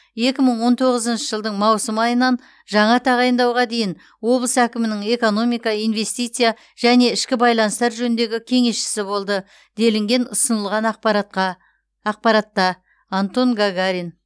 екі мың он тоғызыншы жылдың маусым айынан жаңа тағайындауға дейін облыс әкімінің экономика инвестиция және ішкі байланыстар жөніндегі кеңесшісі болды делінген ұсынылған ақпаратқа ақпаратта антон гагарин